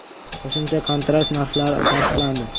Qo‘shimcha kontrakt narxlari tasdiqlandi .